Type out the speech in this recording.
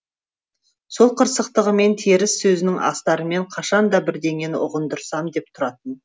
сол қырсықтығымен теріс сөзінің астарымен қашан да бірдеңені ұғындырсам деп тұратын